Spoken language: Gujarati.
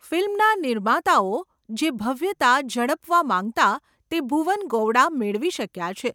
ફિલ્મના નિર્માતાઓ જે ભવ્યતા ઝડપવા માંગતાં તે ભુવન ગોવડા મેળવી શક્યા છે.